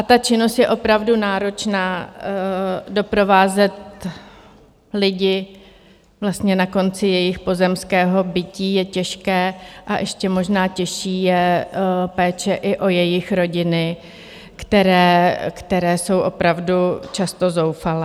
A ta činnost je opravdu náročná, doprovázet lidi na konci jejich pozemského bytí je těžké a ještě možná těžší je péče i o jejich rodiny, které jsou opravdu často zoufalé.